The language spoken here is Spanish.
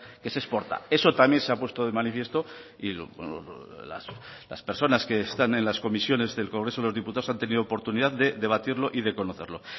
que se exporta eso también se ha puesto de manifiesto y las personas que están en las comisiones del congreso de los diputados han tenido oportunidad de debatirlo y de conocerlo